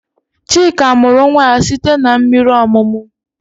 Chika mụrụ nwa ya site n'mmiri ọmụmụ